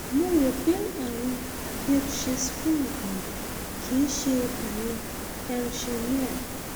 mo rò pé àrùn hirschsprung ni kì í ṣe àrùn hersheimer